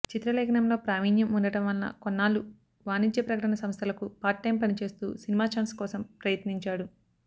చిత్రలేఖనంలో ప్రావీణ్యం ఉండటం వలన కొన్నాళ్ళు వాణిజ్య ప్రకటన సంస్థలకు పార్ట్ టైమ్ పనిచేస్తూ సినిమా ఛాన్స్ కోసం ప్రయత్నించాడు